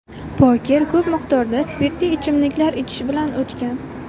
Poker ko‘p miqdorda spirtli ichimliklar ichish bilan o‘tgan.